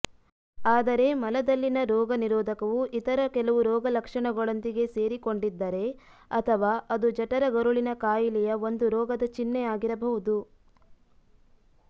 ಆದರೆ ಮಲದಲ್ಲಿನ ರೋಗನಿರೋಧಕವು ಇತರ ಕೆಲವು ರೋಗಲಕ್ಷಣಗಳೊಂದಿಗೆ ಸೇರಿಕೊಂಡಿದ್ದರೆ ಅಥವಾ ಅದು ಜಠರಗರುಳಿನ ಕಾಯಿಲೆಯ ಒಂದು ರೋಗದ ಚಿಹ್ನೆಯಾಗಿರಬಹುದು